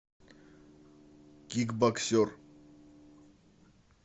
кикбоксер